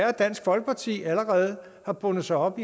at dansk folkeparti allerede har bundet sig op